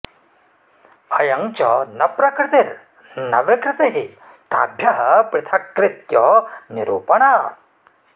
अयं च न प्रकृतिर्न विकृतिः ताभ्यः पृथक्कृत्य निरूपणात्